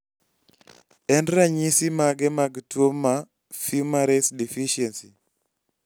en ranyisi mage mag tuo ma Fumarace deficiency